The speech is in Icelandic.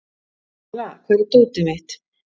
Kala, hvar er dótið mitt?